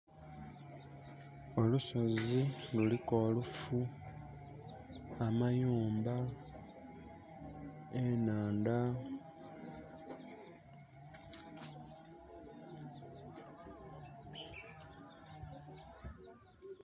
Olusozi luliku oluufu amayumba enaandha